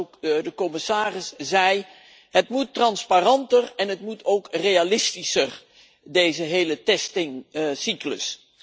Zoals ook de commissaris zei het moet transparanter en het moet ook realistischer, deze hele testcyclus.